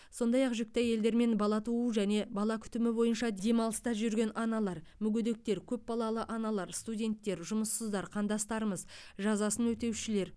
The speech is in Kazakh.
сондай ақ жүкті әйелдер мен бала туу және бала күтімі бойынша демалыста жүрген аналар мүгедектер көп балалы аналар студенттер жұмыссыздар қандастарымыз жазасын өтеушілер